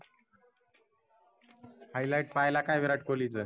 highlight पहायला का विराट कोल्हीचं?